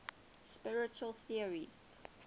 spiritual theories